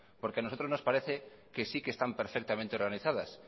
porque a nosotros nos parece que sí que están perfectamente organizadas